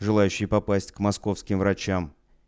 желающие попасть к московским врачам